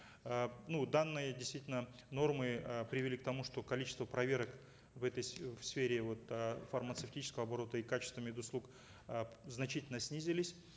э ну данные действительно нормы э привели к тому что количество проверок в этой э в сфере вот э фармацевтического оборота и качества мед услуг э значительно снизились